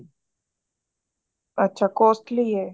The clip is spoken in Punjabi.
ਅੱਛਾ costly ਏ